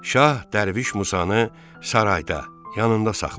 Şah Dərviş Musanı sarayda, yanında saxladı.